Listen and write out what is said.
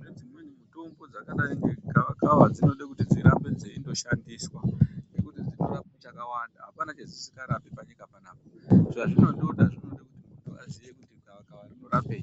nedzimweni mitombo dzakadai negava kava dzinoda kuti dzirambe dzeyindoshandiswa nekuti dzinorape zvakawanda hapana zvadzisingarape panyika panapa zvazvinotoda zvinoda kuti mundu azive kuti gava kava rino rapei.